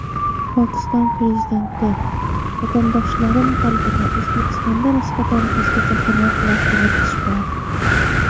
Pokiston prezidenti: Vatandoshlarim qalbida O‘zbekistonga nisbatan o‘zgacha hurmat va qiziqish bor.